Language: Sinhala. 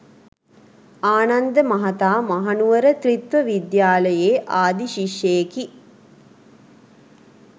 ආනන්ද මහතා මහනුවර ත්‍රිත්ව විද්‍යාලයේ ආදි ශිෂ්‍යයෙකි.